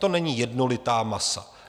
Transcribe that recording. To není jednolitá masa.